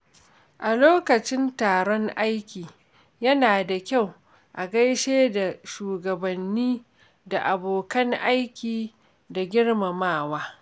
A lokacin taron aiki, yana da kyau a gaishe da shugabanni da abokan aiki da girmamawa.